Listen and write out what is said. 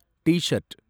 t-shirt